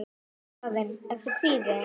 Karen: Ertu kvíðinn?